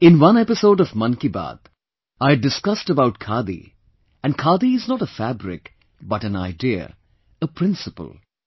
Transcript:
In one episode of Mann Ki Baat I had discussed about Khadi and Khadi is not a fabric but an idea, a principle